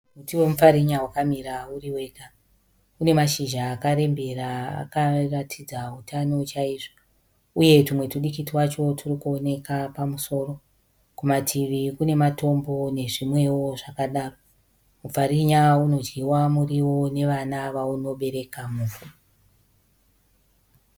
Muti wemufarinya wakamira uriwega. Unemashizha akarembera akaratidza hutano chaizvo. Uye tumwe tudiki twacho turikuoneka pamusoro. Kumativi kune matombo nezvimwewo zvakadaro. Mufarinya unodyiwa muriwo nevana vaunobereka muvhu.